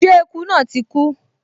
Ṣé eku náà ti kú?